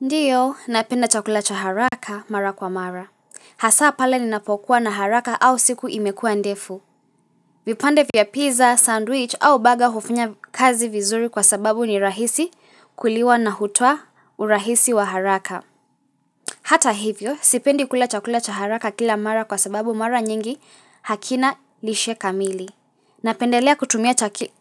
Ndiyo, napenda chakula cha haraka mara kwa mara. Hasa pale ninapokuwa na haraka au siku imekua ndefu. Vipande vya pizza, sandwich au burger hufunya kazi vizuri kwa sababu ni rahisi kuliwa na hutoa urahisi wa haraka. Hata hivyo, sipendi kula chakula cha haraka kila mara kwa sababu mara nyingi hakina lishe kamili. Napendelea kutumia